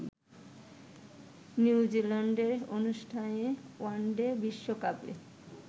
new জিল্যান্ডে অনুষ্ঠেয় one day বিশ্বকাপে